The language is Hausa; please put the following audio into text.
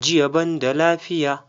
JIya banda lafiya.